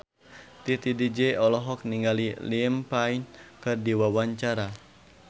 Titi DJ olohok ningali Liam Payne keur diwawancara